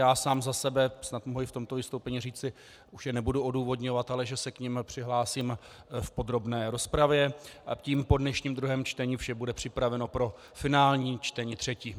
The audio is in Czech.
Já sám za sebe snad mohu i v tomto vystoupení říci, už je nebudu odůvodňovat, ale že se k nim přihlásím v podrobné rozpravě a tím po dnešním druhém čtení vše bude připraveno pro finální čtení třetí.